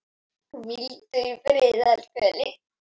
Hvíldu í friði, elsku Elín.